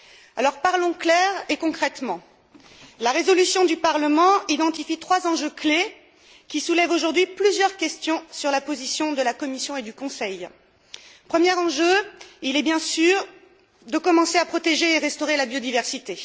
Alors parlons clair et concrètement. La résolution du Parlement identifie trois enjeux clés, qui soulèvent aujourd'hui plusieurs questions sur la position de la Commission et du Conseil. Le premier enjeu est bien sûr de commencer à protéger et à restaurer la biodiversité.